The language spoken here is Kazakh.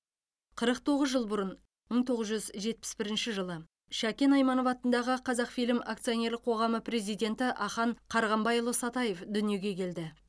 қырық тоғыз жылбұрын мың тоғыз жүз жетпіс бірінші жылы шәкен айманов атындағы қазақфильм акционерлік қоғамы президентіахан қарғамбайұлысатаев дүниеге келді